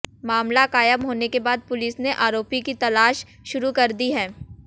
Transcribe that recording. मामला कायम होने के बाद पुलिस ने आरोपी की तलाश शुरू कर दी है